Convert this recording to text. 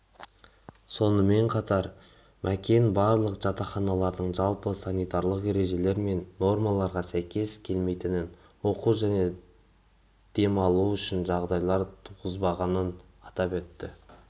сонымен қатар макен барлық жатақханалардың жалпы санитарлық ережелер мен нормаларға сәйкес келмейтінін оқу және демалу үшін жағдайлар туғызбағанын атап өтті